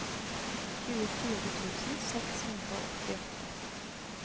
tjuefire tusen seks hundre og åttiåtte